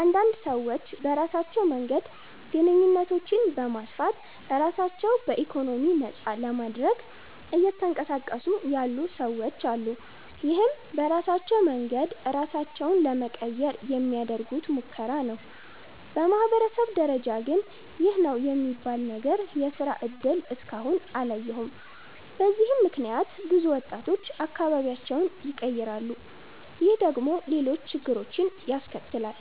አንዳንድ ሰዎች በራሳቸው መንገድ ግንኙነቶችን በማስፋት ራሳቸው በኢኮኖሚ ነፃ ለማድረግ እየተንቀሳቀሱ ያሉ ሰወች አሉ። ይህም በራሳቸው መንገድ ራሳቸውን ለመቀየር የሚያደርጉት ሙከራ ነው። በማህበረሰብ ደረጃ ግን ይህ ነው የሚባል ነገር የስራ እድል እስከ አሁን አላየሁም። በዚህም ምክንያት ብዙ ወጣቶች አካባቢያቸውን ይቀራሉ። ይህ ደግሞ ሌሎች ችግሮችን ያስከትላል።